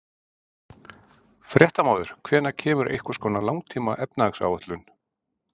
Fréttamaður: Hvenær kemur einhvers konar langtíma efnahagsáætlun?